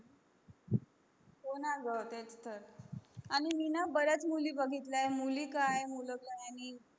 हो न ग तेच तर आणि मी न बरेच मुली बघितल्या आहेत मुली काय मूल काय